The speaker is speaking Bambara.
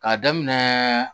K'a daminɛ